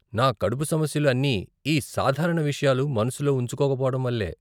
నా కడుపు సమస్యలు అన్ని ఈ సాధారణ విషయాలు మనస్సులో ఉంచుకోకపోవడం వల్లే.